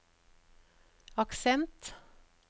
aksent